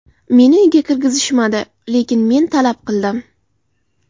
Meni uyga kirgizishmadi, lekin men talab qildim.